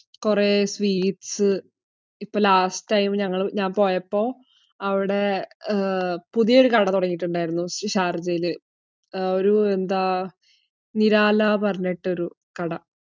കുറെ ബീഫ്. ഇപ്പോ last time ഞാൻ പോയപ്പോ അവിടെ അഹ് പുതിയ ഒരു കട തുടങ്ങിയിട്ടുണ്ടായിരുന്നു, ഷാർജയിൽ. ഒരു എന്ത് നിരാല എന്ന് പറഞ്ഞതു ഒരു കട.